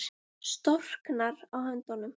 Storknar á höndunum.